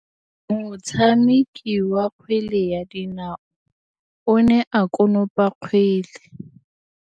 Motshameki wa kgwele ya dinaô o ne a konopa kgwele.